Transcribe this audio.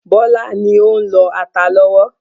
Bọlá ni ó ń lọ ata lọ́wọ́.